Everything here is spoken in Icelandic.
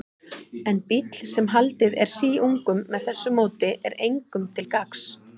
En bíll, sem haldið er síungum með þessu móti, er engum til gagns.